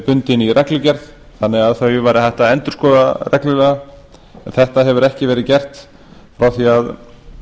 bundin í reglugerð þannig að þau væri hægt að endurskoða reglulega en þetta hefur ekki verið gert frá því að